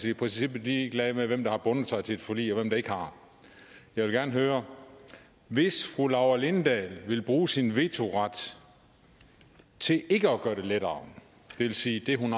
i princippet ligeglad med hvem der har bundet sig til et forlig og hvem der ikke har jeg vil gerne høre hvis fru laura lindahl vil bruge sin vetoret til ikke at gøre det lettere det vil sige det hun